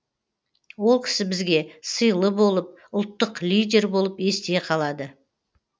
ол кісі бізге сыйлы болып ұлттық лидер болып есте қалады